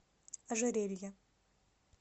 ожерелья